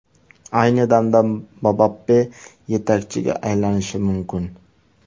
Ayni damda Mbappe yetakchiga aylanishi mumkin.